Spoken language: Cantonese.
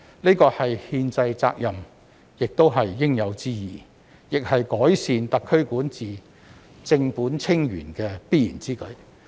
這是憲制責任也是應有之義，亦是改善特區管治，正本清源的必然之舉。